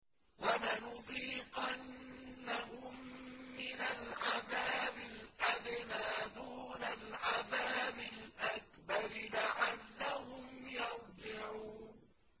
وَلَنُذِيقَنَّهُم مِّنَ الْعَذَابِ الْأَدْنَىٰ دُونَ الْعَذَابِ الْأَكْبَرِ لَعَلَّهُمْ يَرْجِعُونَ